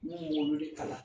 Ne b'olu de kalan.